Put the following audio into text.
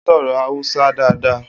O soro Hausa daadaa.